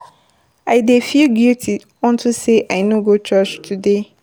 I dey feel guilty unto say I no go church today